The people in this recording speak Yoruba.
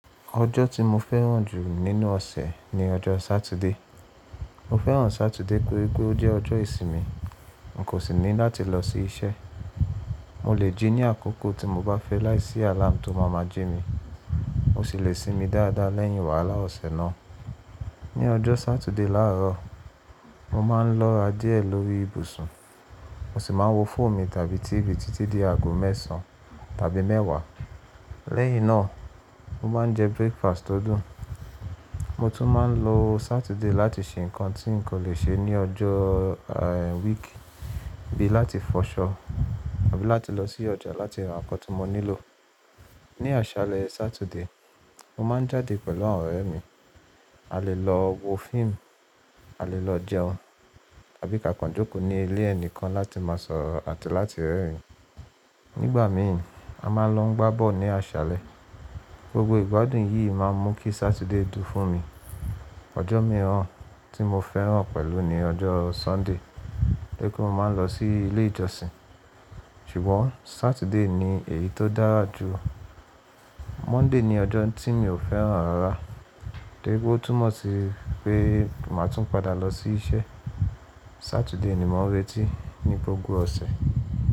Ọjọ́ tí mo fẹ́ràn jù nínú ọ̀sẹ̀ ni ọjọ́ Sátidé. Mo fẹ́ràn Sátidé pé igbó ó jẹ́ ọjọ́ ìsinmi. N kò sì ní láti lọ sí iṣẹ́. Mo lè jí ní àkókò tí mo bá fẹ́ láìsí àláàmù tó máa máa jí mi. Mo sì lè sinmi dáadáa lẹ́yìn wàhálà ọ̀sẹ̀ náà. Ni ọjọ́ Sátidé làárọ̀, mo máa ń lọ́ra díẹ̀ lórí ibùsùn. Mo sì máa ń wo fóònù mi tàbí T.V títí di aago mẹ́sàn tàbí mẹ́wàá. Lẹ́yìn náà, mo máa ń jẹ breakfast tó dùn. Mo tún máa ń lo Sátidé láti ṣe nǹkan tí n kò le ṣe ní ọjọ́, week, bí i láti fọṣọ àbí láti lọ sí ọjà láti ra nǹkan tí mo nílò. Ni àṣálẹ́ Sátidé, mo máa ń jáde pẹ̀lú àwọn ọ̀rẹ́ mi. A lè lọ wo fíìmù, a lè lọ jẹun tàbí ka kán joko ní ilé ẹni kan láti máa sọ̀rọ̀ àti láti rẹ́rìn-ín. Nígbà mi ì, a máa lọ gbábọ̀ ní àṣálẹ́. Gbogbo ìgbádùn yìí máa ń mú kí Sátidé dùn fún mi. Ọjọ́ mìíràn tí mo fẹ́ràn pẹ̀lú ni ọjọ́ Sọ́ńdè, tóri pe mo máa ń lọ sí ilé ìjọsìn. Ṣùgbọ́n Sátidé ni èyí tó dára jù. Mọ́nday ni ọjọ́ tí mi ò fẹ́ràn rárá, tóri pe ó túnmọ̀ sí pé màá tún padà lọ sí iṣẹ́. Sátidé ni mò ń retí ní gbogbo ọ̀sẹ̀